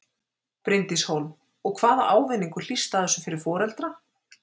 Bryndís Hólm: Og hvaða ávinningur hlýst af þessu fyrir foreldra?